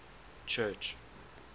church